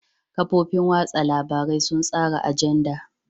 Kafofin watsa labarai sun tsara ajanda.